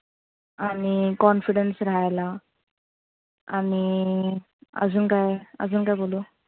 आणि confidence रहायला आणि आजुन काय? आजुन काय बोलू?